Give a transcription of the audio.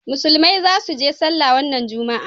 musulmai za su je sallah wannan juma'a